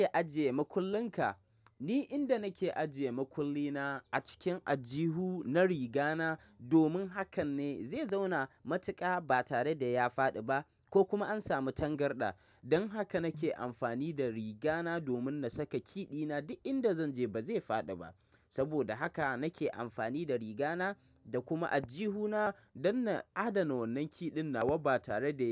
Kake ajiye makullin ka? Ni inda nake ajiye makulli na a cikin ajihu na riga na domin hakan ne zai zauna matuƙa ba tare da ya faɗi ba ko kuma an samu tangarɗa. Don haka nake amfani da riga na domin na saka kiɗi na duk inda zanje ba zai faɗi ba. Saboda haka nake amfani da riga na da kuma ajihu na don na adana wannan kiɗin nawa ba tare da ya.